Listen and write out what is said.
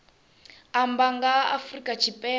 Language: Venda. amba nga ha afrika tshipembe